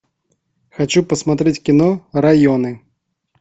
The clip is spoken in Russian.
хочу посмотреть кино районы